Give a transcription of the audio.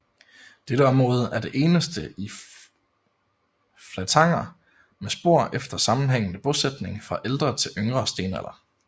Dette område er det eneste i Flatanger med spor efter sammenhængende bosætning fra ældre til yngre stenalder